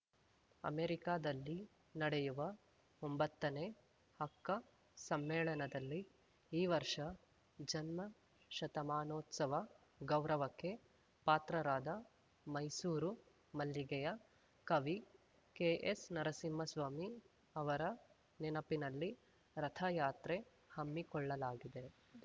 ಅಮೆರಿಕಾದಲ್ಲಿ ನಡೆಯುವ ಒಂಬತ್ತನೇ ಅಕ್ಕ ಸಮ್ಮೆಳನದಲ್ಲಿ ಈ ವರ್ಷ ಜನ್ಮ ಶತಮಾನೋತ್ಸವದ ಗೌರವಕ್ಕೆ ಪಾತ್ರರಾದ ಮೈಸೂರು ಮಲ್ಲಿಗೆಯ ಕವಿ ಕೆ ಎಸ್‌ ನರಸಿಂಹಸ್ವಾಮಿ ಅವರ ನೆನಪಿನಲ್ಲಿ ರಥಯಾತ್ರೆ ಹಮ್ಮಿಕೊಳ್ಳಲಾಗಿದೆ